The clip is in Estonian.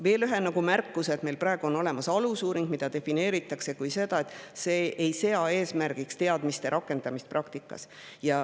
Meil on praegu olemas alusuuring, mida defineeritakse nii, et see ei sea eesmärgiks teadmiste rakendamist praktikas.